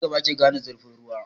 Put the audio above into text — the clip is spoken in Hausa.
Da na gaba ake gane zurfin ruwa.